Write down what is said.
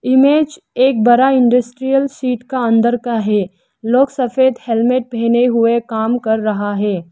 Image एक बड़ा industrial seat का अंदर का है लोग सफेद हेलमेट पहने हुए काम कर रहा है।